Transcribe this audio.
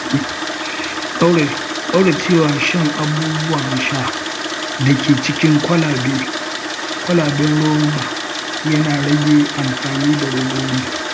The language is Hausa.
ƙaurace wa shan abubuwan sha da ke cikin kwalaben roba yana rage amfani da robobi.